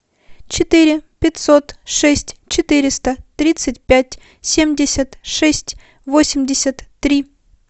четыре пятьсот шесть четыреста тридцать пять семьдесят шесть восемьдесят три